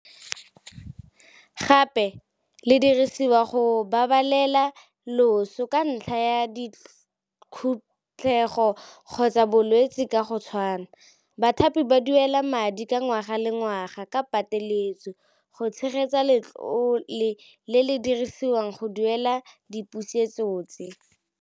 Gape le dirisiwa go babalela loso ka ntlha ya dikhutlego kgotsa bolwetse ka go tshwana. Bathapi ba duela madi ka ngwaga le ngwaga ka pateletso go tshegetsa letlole le le dirisiwang go duela dipusetso tse.